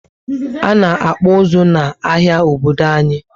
Ana akpu uzu na áhiá Obodo anyi